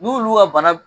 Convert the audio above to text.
N'olu ka bana